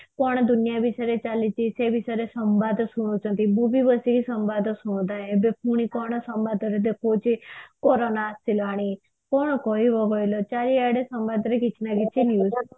କଣ ଦୁନିଆ ବିଷୟରେ ଚାଲିଛି ସେ ବିଷୟରେ ସମ୍ବାଦ ଶୁଣୁଛନ୍ତି duty ରୁ ଆସିକି ସମ୍ବାଦ ଶୁଣନ୍ତି ଏବେ ପୁଣି କଣ ସମ୍ବାଦରେ ଦେଖଉଛି କୋରୋନା ଆସିଲାଣି କଣ କହିବ କହିଲ ଚାରିଆଡେ ସମାଜରେ କିଛିନା କିଛି news